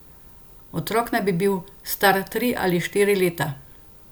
Otrok naj bi bil star tri ali štiri leta.